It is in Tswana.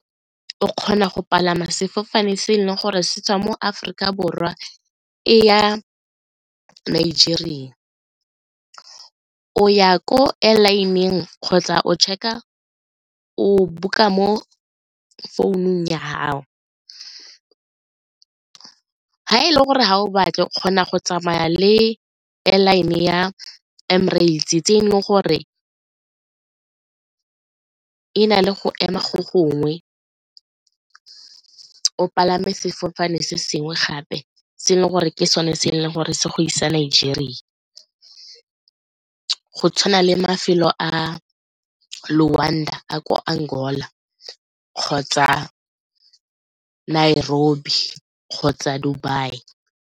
O kgona go palama sefofane se e leng gore se tswa mo Aforika Borwa e ya Nigeria, o ya ko airline-eng kgotsa o check-a o book-a mo founung ya gao. Ga e le gore ga o batle kgona go tsamaya le airline ya Emirates tse e leng gore e na le go ema go gongwe, o palame sefofane se sengwe gape se le gore ke sone se e leng gore se go isa Nigeria, go tshwana le mafelo a ko Angola kgotsa kgotsa Dubai.